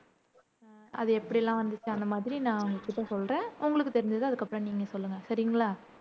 அது எப்படியெல்லாம் வந்துச்சு அந்த மாதிரி நான் உங்ககிட்ட சொல்றேன் உங்களுக்கு தெரிஞ்சதை அதுக்கு அப்பறம் நீங்க சொல்லுங்க சரிங்களா